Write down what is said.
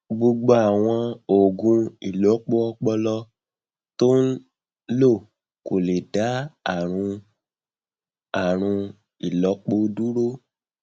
gbogbo àwọn oògùn ìlọpo ọpọlọ tó ń lò kò lè dá àrùn àrùn ìlọpo dúró